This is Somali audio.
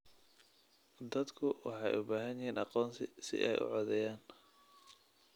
Dadku waxay u baahan yihiin aqoonsi si ay u codeeyaan.